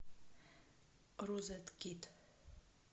розеткид